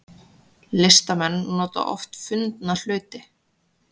Listamenn nota oft fundna hluti